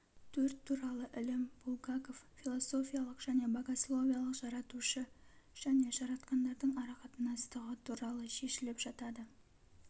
софия туралы ілім булгаков философиялық және богословиялық жаратушы және жаратқандардың арақатынастығы туралы шешіліп жатады